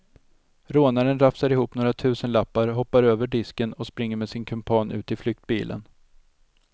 Rånaren rafsar ihop några tusenlappar, hoppar över disken och springer med sin kumpan ut i flyktbilen.